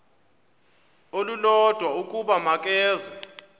olulodwa ukuba makeze